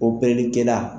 kɛla